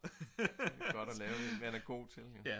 det er godt at lave det man er god til